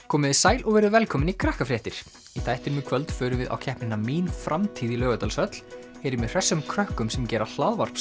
komið þið sæl og verið velkomin í Krakkafréttir í þættinum í kvöld förum við á keppnina mín framtíð í Laugardalshöll heyrum í hressum krökkum sem gera